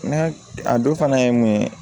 N'a a dɔ fana ye mun ye